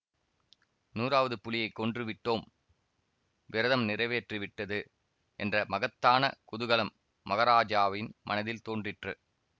நூறாவது புலியைக் கொன்று விட்டோம் விரதம் நிறைவேறிவிட்டது என்ற மகத்தான குதூகலம் மகராஜாவின் மனதில் தோன்றிற்று